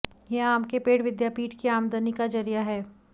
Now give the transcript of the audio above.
ये आम के पेड़ विद्यापीठ की आमदनी का जरिया है